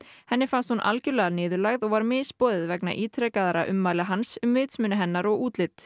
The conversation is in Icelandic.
henni fannst hún algjörlega niðurlægð og var misboðið vegna ítrekaðra ummæla hans um vitsmuni hennar og útlit